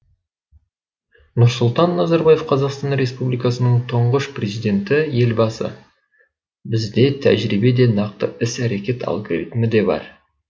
нұрсұлтан назарбаев қазақстан республикасының тұңғыш президенті елбасы бізде тәжірибе де нақты іс әрекет алгоритмі де бар